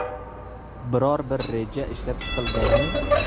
Biror bir reja ishlab chiqilganmi?